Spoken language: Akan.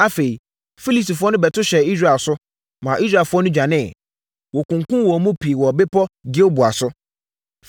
Afei, Filistifoɔ no bɛto hyɛɛ Israel so, ma Israelfoɔ no dwaneeɛ. Wɔkunkumm wɔn mu pii wɔ bepɔ Gilboa so.